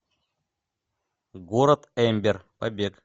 город эмбер побег